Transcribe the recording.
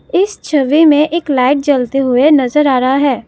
इस छवि में एक लाइट जलते हुए नजर आ रहा है।